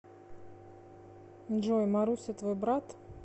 джой маруся твой брат